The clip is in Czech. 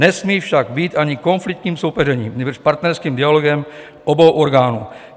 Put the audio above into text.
Nesmí však být ani konfliktním soupeřením, nýbrž partnerským dialogem obou orgánů.